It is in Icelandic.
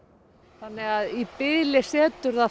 þannig að í bili setur það